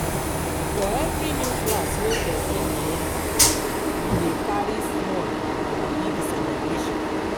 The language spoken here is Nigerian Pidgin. For every new class wey persin de enter e de carry small or big celebration